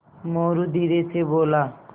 मोरू धीरे से बोला